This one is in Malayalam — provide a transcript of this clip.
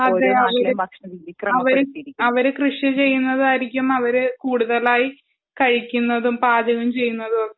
അതെയതെ അവര് കൃഷി ചെയ്യുന്നതായിരിക്കും അവര് കൂടുതലായി കഴിക്കുന്നതും പാചകം ചെയ്യുന്നതുമൊക്കെ